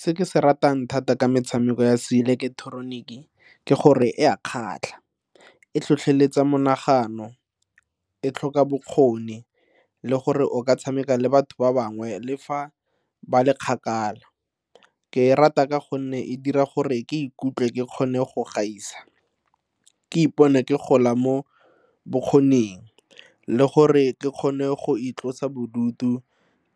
Se ke se ratang thata ka metshameko ya seileketeroniki ke gore e a kgatlha, e tlhotlheletsa monagano, e tlhoka bokgoni le gore o ka tshameka le batho ba bangwe le fa ba le kgaka. Ke e rata ka gonne e dira gore ke ikutlwe ke kgone go gaisa, ke ipone ke gola mo bokgoning le gore ke kgone go itlosa bodutu